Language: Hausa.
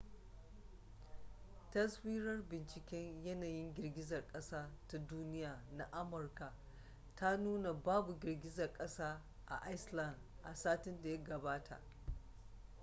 taswirar binciken yanayin girgizar kasa ta duniya na amurka ta nuna babu girgizar kasa a iceland a satin da ya gabata